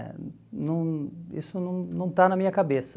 eh não Isso não não está na minha cabeça.